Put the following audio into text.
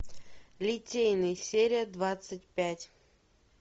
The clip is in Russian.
литейный серия двадцать пять